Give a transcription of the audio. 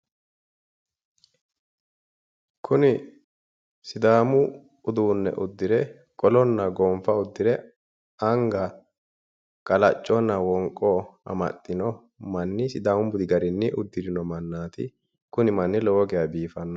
Kuni sidaamu uduunne uddire qolonna gonfa uddire anga qalacconna wonqo amaxxino manni sidaamu budi garinni uddirino mannaati kuni manni lowo geya biifanno